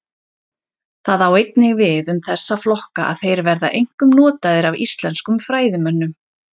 Það á einnig við um þessa flokka að þeir verða einkum notaðir af íslenskum fræðimönnum.